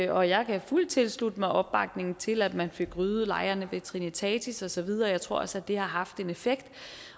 og jeg kan fuldt tilslutte mig opbakningen til at man fik ryddet lejrene ved trinitatis og så videre jeg tror også at det har haft en effekt